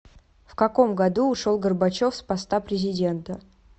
в каком году ушел горбачев с поста президента